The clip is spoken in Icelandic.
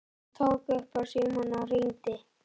Hann tók upp símann og hringdi.